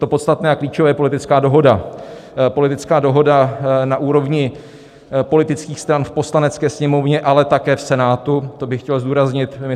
To podstatné a klíčové je politická dohoda, politická dohoda na úrovni politických stran v Poslanecké sněmovně, ale také v Senátu - to bych chtěl zdůraznit.